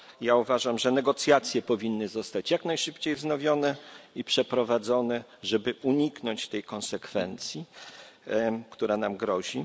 Ja uważam, że negocjacje powinny zostać jak najszybciej wznowione i przeprowadzone, żeby uniknąć tej konsekwencji, która nam grozi.